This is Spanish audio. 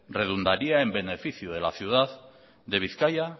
redundaría en beneficio de la ciudad de bizkaia